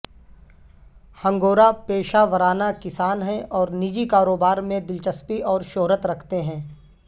ہنگورہ پیشہ ورانہ کسان ہیں اور نجی کاروبار میں دلچسپی اور شہرت رکھتے ہیں